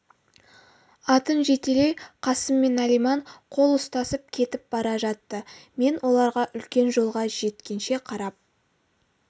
атын жетелей қасым мен алиман қол ұстасып кетіп бара жатты мен оларға үлкен жолға жеткенше қарап